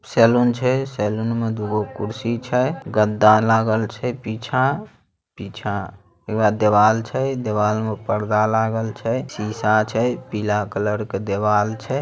Salon छै saloon में दुगो कुर्सी छै गद्दा लागल छै पीछा । पीछा उवेह देवाल छै। देवाल में पर्दा लागल छै। सीसा छै पीला कलर के दीवाल छै।